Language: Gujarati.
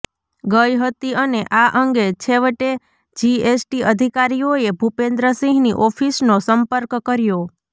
ગઇ હતી અને આ અંગે છેવટે જીએસટી અધિકારીઓએ ભુપેન્દ્રસિંહની ઓફિસનો સંર્પક કર્યો